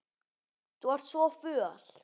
Þú ert svo föl.